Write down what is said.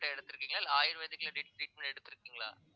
எடுத்திருக்கீங்க இல்லை ayurvedic ல treat~ treatment எடுத்திருக்கீங்களா